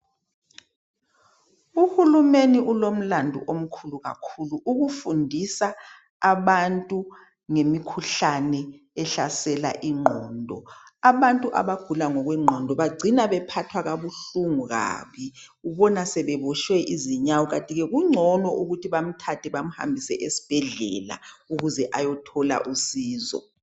Uhulumeni ulomlando omkhulu kakhulu ukufundisa abantu ngemkhuhlane ehlasela ingqondo. Abantu abagula ngokwengqondo bagcina bephathwa kabuhlungu kabi bona sebebuswe yizinyawupe kungcono bamthathe bemhambise esibhedlela eyethola usizo.